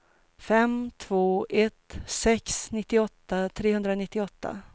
fem två ett sex nittioåtta trehundranittioåtta